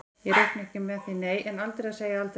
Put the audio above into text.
Ég reikna ekki með því nei, en aldrei að segja aldrei.